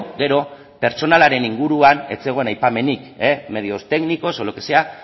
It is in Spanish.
gero pertsonalaren inguruan ez zegoen aipamenik medios técnicos o lo que sea